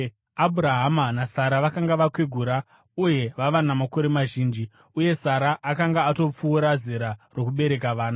Abhurahama naSara vakanga vakwegura uye vava namakore mazhinji, uye Sara akanga atopfuura zera rokubereka vana.